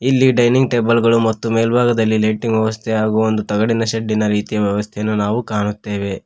ಇಲ್ಲಿ dining table ಗಳು ಮತ್ತು ಮೇಲ್ಭಾಗದಲ್ಲಿ ಲೈಟಿಂಗ್ ವ್ಯವಸ್ಥೆ ಹಾಗೂ ಒಂದು ತಗಡಿನ ಶೆಡಿ ರೀತಿಯ ವ್ಯವಸ್ಥೆಯನ್ನು ನಾವು ಕಾಣುತ್ತೇವೆ.